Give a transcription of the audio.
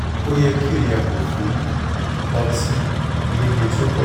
o yẹ ki o yago fun ọti-lile ti o pọju